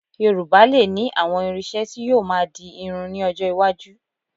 Yorùbá lè ní àwọn irin-iṣẹ́ tí yóò máa di irun ní ọjọ́ iwájú